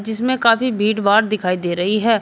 जिसमें काफी भीड़ भाड़ दिखाई दे रही है।